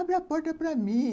Abre a porta para mim.